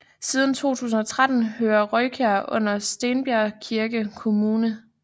Siden 2013 hører Rojkær under Stenbjergkirke kommune